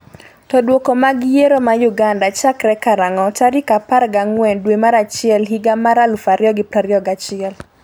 to Duoko mag yiero ma Uganda chakre karang'o tarik 14 dwe mar achiel higa mar 2021?